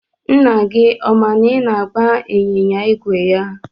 Nna gị ọ ma na ị na-agba ịnyịnya ígwè ya?